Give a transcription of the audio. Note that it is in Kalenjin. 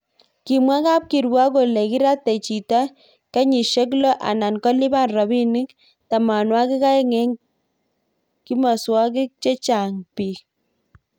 kimwa kab kirwok kole kiratei chito kenyishe lo anan kolipan robinik tamanwakik aeng eng kimoswokik chechang bik